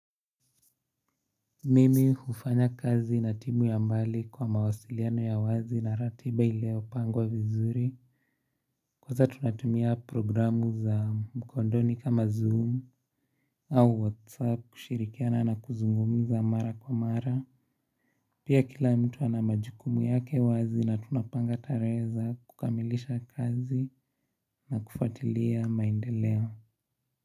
Mimi hufanya kazi na timu ya mbali kwa mawasiliano ya wazi na ratiba iliopangwa vizuri Kwanza tunatumia programu za mkondoni kama zoom au whatsapp kushirikiana na kuzungumza mara kwa mara Pia kila mtu ana majukumu yake wazi na tunapanga tarehe za kukamilisha kazi na kufatilia maendeleo.